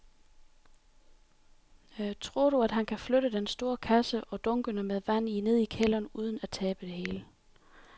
Tror du, at han kan flytte den store kasse og dunkene med vand ned i kælderen uden at tabe det hele?